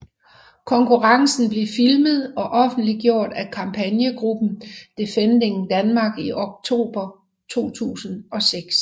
Konkurrencen blev filmet og offentliggjort af kampagnegruppen Defending Denmark i oktober 2006